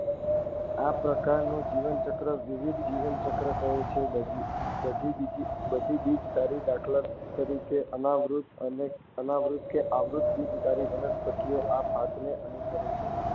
આ પ્રકારનું જીવનચક્ર દ્વિવિધ જીવનચક્ર કહે છે. બધી બીજધારી દાખલ તરીકે અનાવૃત્ત કે આવૃત્ત બીજધારી વનસ્પતિઓ આ ભાતને અનુસરે છે.